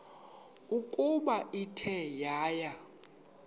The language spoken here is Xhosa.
ukuba ithe yaya